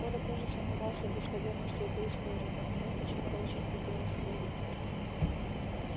коля тоже сомневался в достоверности этой истории но в неё почему то очень хотелось верить